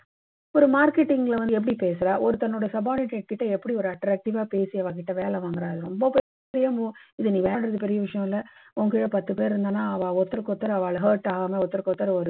ஒரு marketing ல வந்து எப்படி பேசறா? ஒருத்தர் அவரோட subordinate கிட்ட எப்படி ஒரு attractive வா பேசி அவங்களை வேலை வாங்கறாரு. ரொம்ப பெரிய விஷயமில்லை. அவங்களுக்கு கீழே பத்து பேர் இருந்தான்னா ஒருத்தருக்கு ஒருத்தர் அவா ஒரு hurt ஆகாம ஒருத்தருக்கு ஒருத்தர் ஒரு